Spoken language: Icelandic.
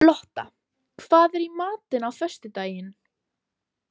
Lotta, hvað er í matinn á föstudaginn?